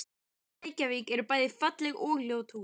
Í Reykjavík eru bæði falleg og ljót hús.